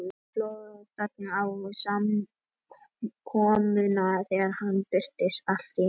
Það sló þögn á samkomuna þegar hann birtist allt í einu.